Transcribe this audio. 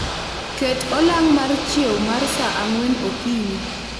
Ket olang' mar chiew mar saa ang'wen okinyi